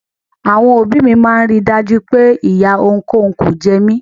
Àwọn òbí mi máa ń rí i dájú pé ìyà ohunkóhun ò jẹ mí.